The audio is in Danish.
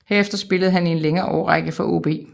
Herefter spillede han i en længere årrække for AaB